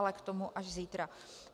Ale k tomu až zítra.